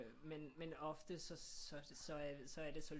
Men men ofte så er det så er det så